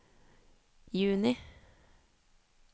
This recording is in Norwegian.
juni